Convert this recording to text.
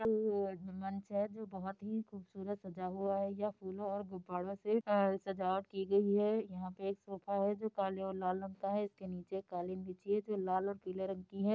मंच है जो बहुत ही खूबसूरत सजा हुआ है यह फूलों और गुबारों से अ सजावट की गई है यहाँ पे एक सोफा है जो काले और लाल रंग का है इसके नीचे एक कालीन बिछी है जो लाल और पीले रंग की है।